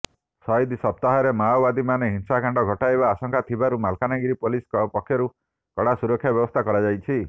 ସହିଦ ସପ୍ତାହରେ ମାଓବାଦୀମାନେ ହିଂସାକାଣ୍ଡ ଘଟାଇବା ଆଶଙ୍କା ଥିବାରୁ ମାଲକାନଗିରି ପୋଲିସ ପକ୍ଷରୁ କଡ଼ା ସୁରକ୍ଷା ବ୍ୟବସ୍ଥା କରାଯାଇଛି